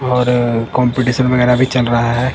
और कंपटीशन वेगेरा भी चल रहा है।